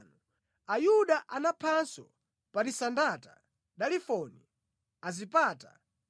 Ayuda anaphanso Parisandata, Dalifoni, Asipata,